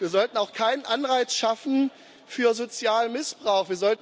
Wir sollten auch keinen Anreiz schaffen für Sozialmissbrauch.